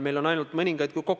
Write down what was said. Me kõik oleme inimesed ja eksime.